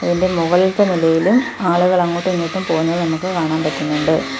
അതിൻ്റെ മുകളിലത്തെ നിലയിലും ആളുകൾ അങ്ങോട്ടുമിങ്ങോട്ടും പോകുന്നത് നമുക്ക് കാണാൻ പറ്റുന്നുണ്ട്.